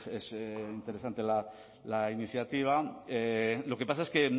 es interesante la iniciativa lo que pasa es que